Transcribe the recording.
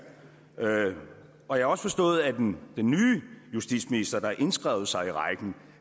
og jeg har også forstået at den nye justitsminister der har indskrevet sig i rækken